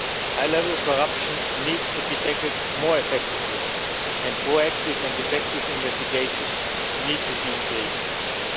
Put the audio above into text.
High level corruption needs to be tackled more effectively, and proactive and effective investigations need to be stepped up.